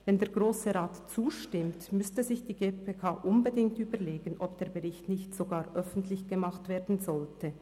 Wenn der Grosse Rat zustimmt, müsste sich die GPK unbedingt überlegen, ob der Bericht nicht sogar öffentlich gemacht werden sollte.